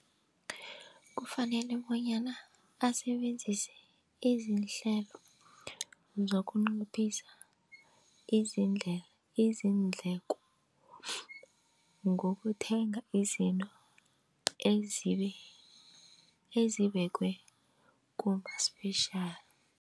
Kufanele bonyana asebenzise izihlelo zokunciphisa izindleko ngokuthenga izinto ezibekiwe kuma-special.